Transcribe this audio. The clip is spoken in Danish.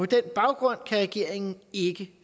den baggrund kan regeringen ikke